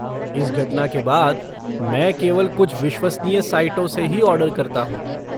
इस घटना के बाद मैं केवल कुछ विश्वसनीय साइटों से ही ऑर्डर करता हूँ।